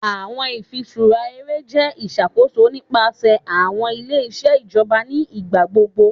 Awọn ifiṣura ere jẹ iṣakoso nipasẹ awọn ile-iṣẹ ijọba ni igbagbogbo